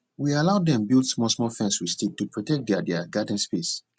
we allow dem build smallsmall fence with stick to protect their their garden space